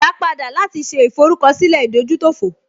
Ìyá padà láti ṣe ìforúkọsílẹ̀ ìdójútòfò